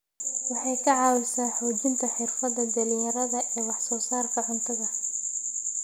Waxay ka caawisaa xoojinta xirfadaha dhalinyarada ee wax soo saarka cuntada.